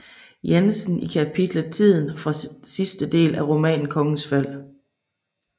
Jensen i kapitlet Tiden fra sidste del af romanen Kongens Fald